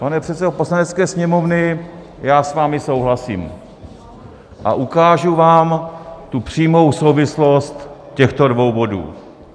Pane předsedo Poslanecké sněmovny, já s vámi souhlasím a ukážu vám tu přímou souvislost těchto dvou bodů.